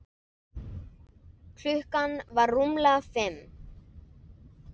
Klukkan var rúmlega fimm.